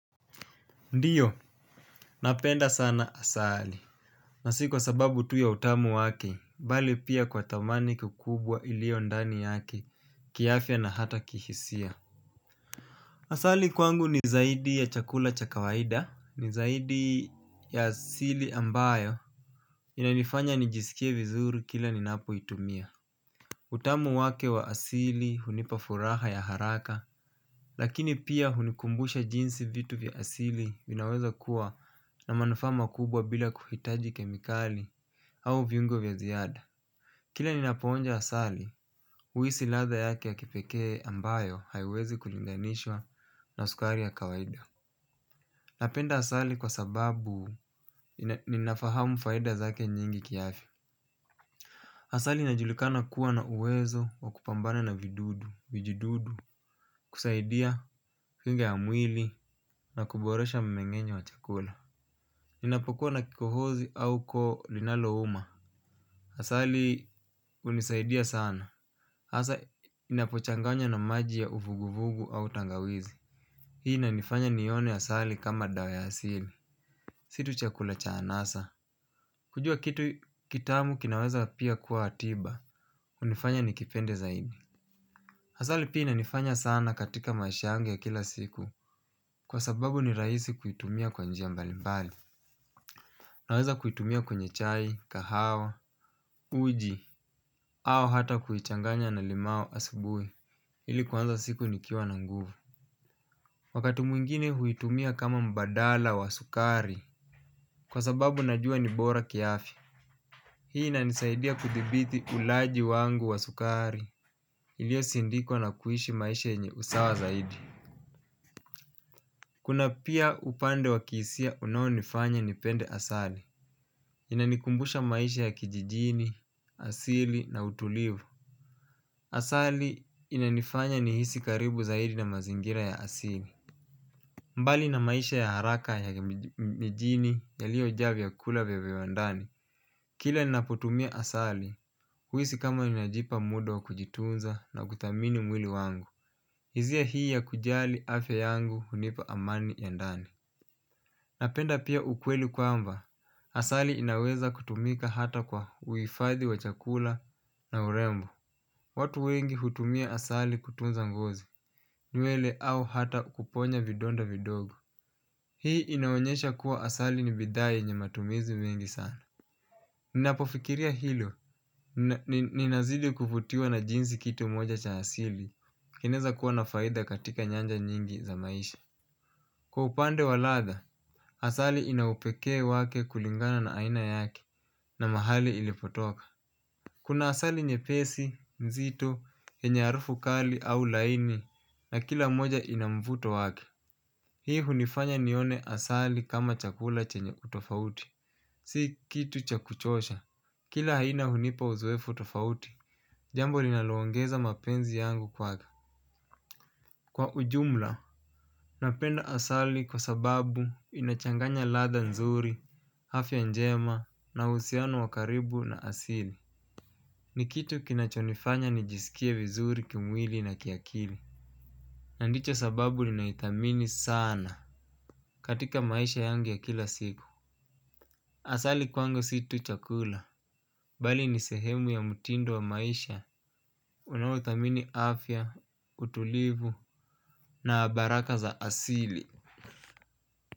Ndiyo, napenda sana asali. Na si kwa sababu tu ya utamu wake, bali pia kwa thamani kikubwa ilio ndani yake, kiafya na hata kihisia. Asali kwangu ni zaidi ya chakula cha kawaida, ni zaidi ya asili ambayo inanifanya nijisikie vizuri kila ninapoitumia. Utamu wake wa asili hunipa furaha ya haraka. Lakini pia hunikumbusha jinsi vitu vya asili vinaweza kuwa na manufaa makubwa bila kuhitaji kemikali au viungo vya ziada. Kila ninapo onja asali, uisi ladha yake ya kipekee ambayo haiwezi kulinganishwa na sukari ya kawaida. Napenda asali kwa sababu ninafahamu faida zake nyingi kiafya. Asali inajulikana kuwa na uwezo wa kupambana na vidudu, vijududu, kusaidia figure ya mwili na kuboresha mmeng'enyo wa chakula. Unapokuwa na kikohozi au koo linalouma. Asali unisaidia sana. Asa inapochanganya na maji ya uvuguvugu au tangawizi. Hii inanifanya nione asali kama dawa ya asili. Si tu chakula cha anasa. Kujua kitu kitamu kinaweza pia kuwa tiba. Unifanya nikipende zaidi. Hasali pia inanifanya sana katika mashangu ya kila siku kwa sababu ni raisi kuitumia kwa njia mbali mbali. Naweza kuitumia kwenye chai, kahawa, uji, au hata kuichanganya na limao asibui ili kuanza siku nikiwa na nguvu. Wakati mwingine huitumia kama mbadala wa sukari kwa sababu najua ni bora kiafya. Hii inanisaidia kuthibithi ulaji wangu wa sukari iliosindikwa na kuishi maisha yenye usawa zaidi. Kuna pia upande wa kiisia unaonifanya nipende asali. Inanikumbusha maisha ya kijijini, asili na utulivu. Asali inanifanya nihisi karibu zaidi na mazingira ya asili. Mbali na maisha ya haraka ya mijini yaliyo jaa vyakula vya viwandani. Kila ninapotumia asali, huisi kama inajipa mudo wa kujitunza na kuthamini mwili wangu. Hizia hii ya kujali afya yangu hunipa amani ya ndani. Napenda pia ukweli kwamba, asali inaweza kutumika hata kwa uifadhi wa chakula na urembo. Watu wengi hutumia asali kutunza ngozi, nywele au hata kuponya vidonda vidogo. Hii inaonyesha kuwa asali ni bidhaa yenye matumizi mengi sana. Ninapofikiria hilo, ninazidi kuvutiwa na jinsi kitu moja cha asili, keneza kuwa na faidha katika nyanja nyingi za maisha. Kwa upande wa ladha, asali ina upekee wake kulingana na aina yake na mahali ilipotoka. Kuna asali nyepesi, mzito, yenye harufu kali au laini na kila moja ina mvuto wake. Hii hunifanya nione asali kama chakula chenye utofauti. Si kitu cha kuchosha. Kila haina hunipa uzoefu tofauti. Jambo linaloongeza mapenzi yangu kwaka. Kwa ujumla, napenda asali kwa sababu inachanganya ladha nzuri. Afya njema na uhusiano wa karibu na asili nikitu kinachonifanya nijisikie vizuri kimwili na kiakili na ndicho sababu ninaithamini sana katika maisha yangi ya kila siku asali kwangu si tu chakula bali ni sehemu ya mtindo wa maisha unao thamini afya, utulivu na baraka za asili.